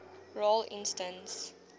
role instance